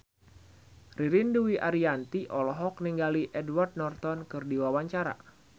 Ririn Dwi Ariyanti olohok ningali Edward Norton keur diwawancara